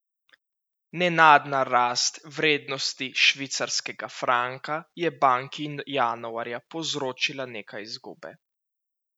Nenadna rast vrednosti švicarskega franka je banki januarja povzročila nekaj izgube.